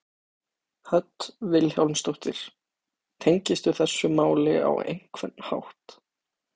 Hödd Vilhjálmsdóttir: Tengistu þessu máli á einhvern hátt?